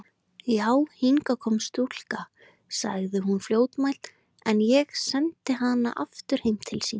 Já, hingað kom stúlka, sagði hún fljótmælt,-en ég sendi hana aftur heim til sín.